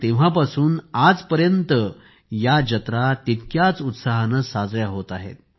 तेव्हापासून आजपर्यंत या जत्रा तितक्याच उत्साहाने साजऱ्या होत आहेत